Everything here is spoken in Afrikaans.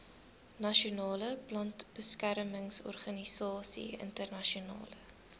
nasionale plantbeskermingsorganisasie internasionale